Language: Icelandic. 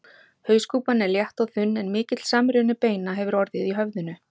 Hauskúpan er létt og þunn en mikill samruni beina hefur orðið í höfðinu.